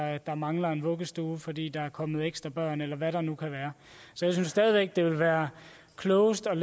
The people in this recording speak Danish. at der mangler en vuggestue fordi der er kommet ekstra børn eller hvad der nu kan være så jeg synes stadig væk det vil være klogest at